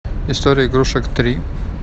история игрушек три